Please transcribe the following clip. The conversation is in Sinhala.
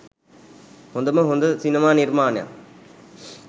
හොදම හොද සිනමා නිර්මාණයක්.